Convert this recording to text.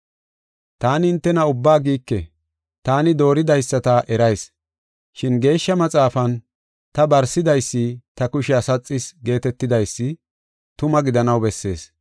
“Taani hintena ubbaa giike; taani dooridaysata erayis. Shin Geeshsha Maxaafan, ‘Ta barsidaysi ta kushiya saxis’ geetetidaysi tuma gidanaw bessees.